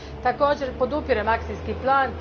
Također, podupirem akcijski plan.